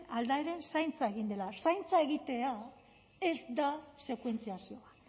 aldaren zaintza egin dela zaintza egitea da sekuentziazioa